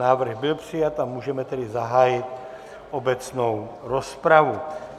Návrh byl přijat a můžeme tedy zahájit obecnou rozpravu.